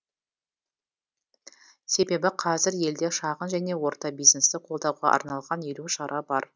себебі қазір елде шағын және орта бизнесті қолдауға арналған елу шара бар